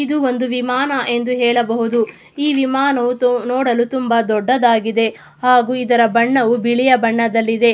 ಇದು ಒಂದು ವಿಮಾನ ಎಂದು ಹೇಳಬಹುದಈ ವಿಮಾನವು ನೋಡಲು ತುಂಬಾ ದೊಡ್ಡದಾಗಿದೆ ಹಾಗು ಇದರ ಬಣ್ಣವು ಬಿಳಿಯ ಬಣ್ಣದಲ್ಲಿದೆ.